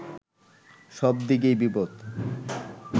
সব দিকেই বিপদ